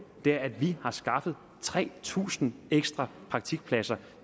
er at vi har skaffet tre tusind ekstra praktikpladser